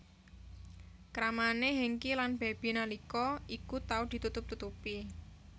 Kramane Hengky lan Baby nalika iku tau ditutup tutupi